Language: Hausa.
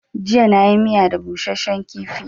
Jiya na yi miya da busashen kifi